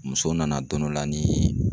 Muso nana don dɔ la ni